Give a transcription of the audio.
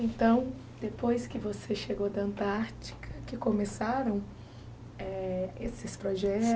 Então, depois que você chegou da Antártica, que começaram eh esses